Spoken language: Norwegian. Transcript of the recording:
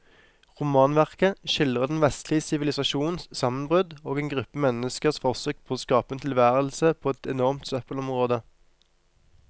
Romanverket skildrer den vestlige sivilisasjons sammenbrudd og en gruppe menneskers forsøk på å skape en tilværelse på et enormt søppelområde.